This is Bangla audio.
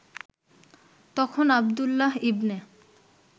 তখন আবদুল্লাহ ইবনে